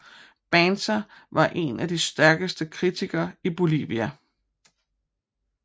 Banzer var en af de stærkeste kritikere i Bolivia